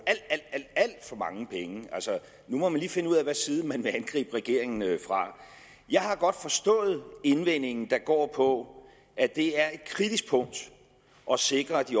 alt for mange penge nu må man lige finde ud af hvilken side man vil angribe regeringen fra jeg har godt forstået indvendingen der går på at det er et kritisk punkt at sikre at de